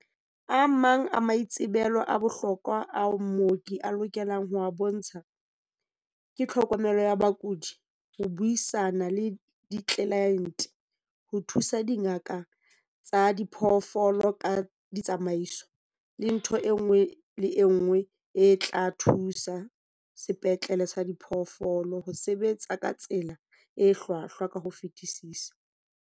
"A mang a maitsebelo a bohlokwa ao mooki a lokelang ho a bontsha ke tlhokomelo ya bakudi, ho buisana le ditlelaente, ho thusa dingaka tsa diphoofolo ka ditsamaiso, le ntho e nngwe le e nngwe e tla thusa sepetlele sa diphoofolo ho sebetsa ka tsela e hlwahlwa ka ho fetisisa."